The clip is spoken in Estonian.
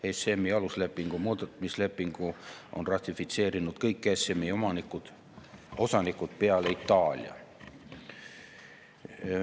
ESM‑i aluslepingu muutmise lepingu on ratifitseerinud kõik ESM‑i osanikud peale Itaalia.